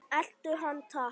Elta hann takk!